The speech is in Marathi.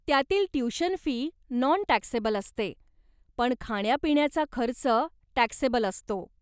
त्यातली ट्युशन फी नॉन टॅक्सेबल असते, पण खाण्यापिण्याचा खर्च टॅक्सेबल असतो.